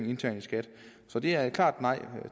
internt i skat så det er et klart nej